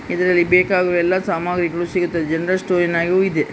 ಇದರಲ್ಲಿ ಬೇಕಾಗುವ ಎಲ್ಲ ಸಾಮಗ್ರಿಗಳು ಸಿಗುತ್ತವೆ ಜನರಲ್ ಸ್ಟೋರ್ ದೂ ಇದೆ.